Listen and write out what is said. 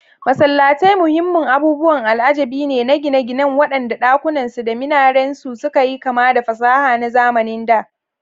Masallatai muhimman abubuwan al'ajabi ne na gine-ginen waɗanda ɗakunansu da minarensu suka yi kama da fasaha na zamanin da.